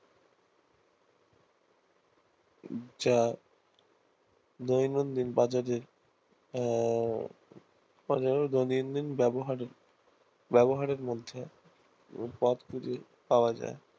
যা দৈনন্দিন বাজারের আহ দৈনন্দিন ব্যাবহারের ব্যাবহারের মধ্যে পথগুলি পাওয়া যায়